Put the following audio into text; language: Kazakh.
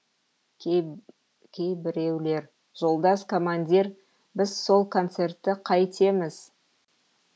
кейбіреулер жолдас командир біз сол концертті қайтеміз